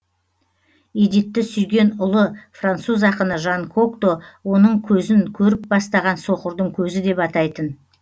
эдитті сүйген ұлы француз ақыны жан кокто өзінің көзін көріп бастаған соқырдың көзі деп атайтын